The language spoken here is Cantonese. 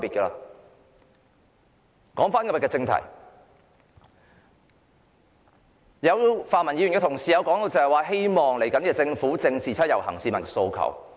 回到今天的議題，有泛民同事希望下屆政府正視七一遊行市民的訴求。